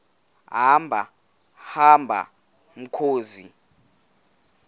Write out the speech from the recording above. hamba hamba mkhozi